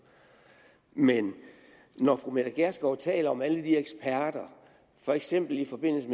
men når fru mette gjerskov taler om alle de eksperter for eksempel i forbindelse